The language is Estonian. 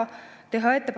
Hea ettekandja!